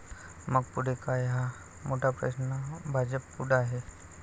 मग पुढे काय, हा मोठा प्रश्न भाजपपुढं आहे.